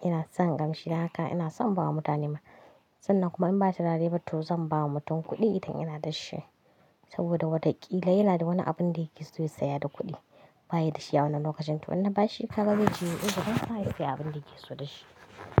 Ina son kamshi, haka ina son bawa mutane ma. Sannan kuma in ba turare, ba to zan ba wa mutum kuɗi idan yana da shi. Saboda wataƙila yana da wani abin da yake so ya saya da kuɗi, bayi da shi a wannan lokacin. To in na ba shi kaga zai je yayi uzurin sa, ya sayi abin da yake so da shi.